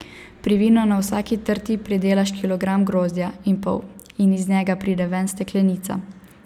Pri vinu na vsaki trti pridelaš kilogram grozdja in pol in iz njega pride ven steklenica.